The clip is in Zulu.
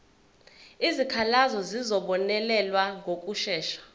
izikhalazo zizobonelelwa ngokushesha